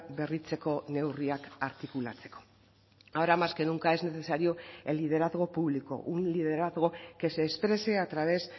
berritzeko neurriak artikulatzeko ahora más que nunca es necesario el liderazgo público un liderazgo que se exprese a través